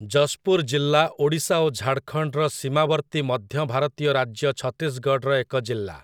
ଜଶ୍‌ପୁର ଜିଲ୍ଲା ଓଡ଼ିଶା ଓ ଝାଡ଼ଖଣ୍ଡର ସୀମାବର୍ତ୍ତୀ ମଧ୍ୟ ଭାରତୀୟ ରାଜ୍ୟ ଛତିଶଗଡ଼ର ଏକ ଜିଲ୍ଲା ।